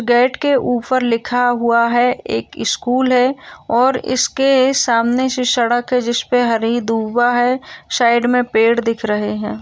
Gate के उपर् लिखा हुआ है| एक स्कूल है और इसके सामने जो सड़क है जिसपे हरी दूबा है साइड मे पेड़ दिख रहे हैं।